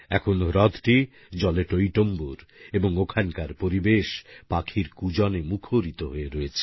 এখন হ্রদটি জলে টইটুম্বুর এবং ওখানকার পরিবেশ পাখির কূজনে মুখরিত হয়ে রয়েছে